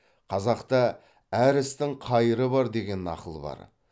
қазақта әр істің қайыры бар деген нақыл бар